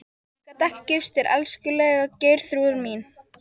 Ég gat ekki gifst þér, elskulega Geirþrúður mín.